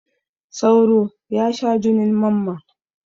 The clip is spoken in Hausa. Sauro ya sha junin mamman.